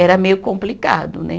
Era meio complicado, né?